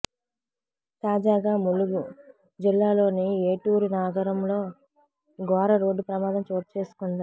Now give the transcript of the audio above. తాజాగా ములుగు జిల్లాలోని ఏటూరు నాగరంలో ఘోర రోడ్డు ప్రమాదం చోటుచేసుకుంది